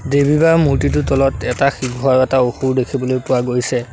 দেৱী বা মূৰ্ত্তিটোৰ তলত এটা সিংহ আৰু এটা অসুৰ দেখিবলৈ পোৱা গৈছে।